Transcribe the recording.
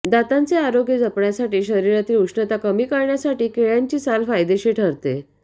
दातांचे आरोग्य जपण्यासाठी शरीरातील उष्णता कमी करण्यासाठी केळ्याची साल फायदेशीर ठरते